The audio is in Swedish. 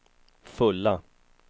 fulla